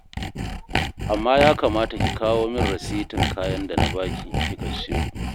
Amma ya kamata ki kawo min rasitin kayan da na ba ki kika sayo